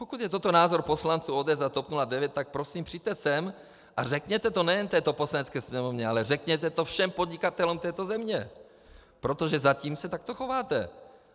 Pokud je toto názor poslanců ODS a TOP 09, tak prosím, přijďte sem a řekněte to nejen této Poslanecké sněmovně, ale řekněte to všem podnikatelům této země, protože zatím se takto chováte.